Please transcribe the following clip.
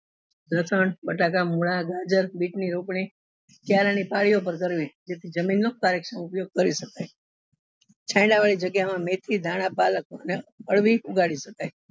લસણ બટાકા મૂળા ગાજર બીત ની રોપણી ક્યારા ની પાળી પર કરવી જેથી જમીન નો સારી રીતે ઉપયોગ કરી શકાય છાયડા વાળી જગ્યા માં મેથી ધાણા પલક અને અડવી ઉગાડી શકાય